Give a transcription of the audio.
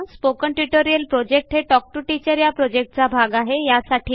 spoken tutorial project हे talk to teacher या प्रॉजेक्टचा एक भाग आहे